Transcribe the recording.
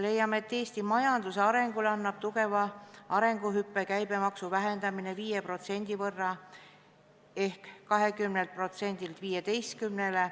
Leiame, et Eesti majanduse arengule annab tugeva arengutõuke käibemaksu vähendamine 5% võrra ehk 20%-lt 15-%le.